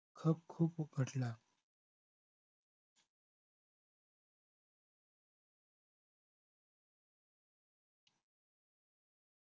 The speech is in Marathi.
हप खूप उफाटला